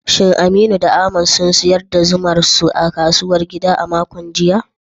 Shin Aminu da Ahmad sun sayar da zumar su a kasuwar gida a makon jiya?